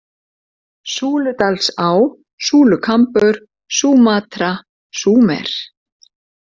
Súludalsá, Súlukambur, Súmatra, Súmer